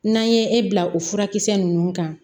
N'an ye e bila o furakisɛ ninnu kan